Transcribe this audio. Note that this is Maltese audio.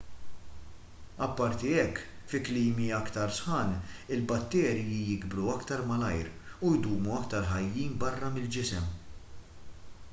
apparti hekk fi klimi iktar sħan il-batterji jikbru aktar malajr u jdumu iktar ħajjin barra mill-ġisem